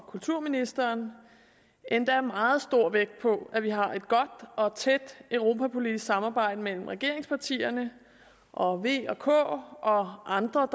og kulturministeren endda meget stor vægt på at vi har et godt og et tæt europapolitisk samarbejde mellem regeringspartierne og v og k og andre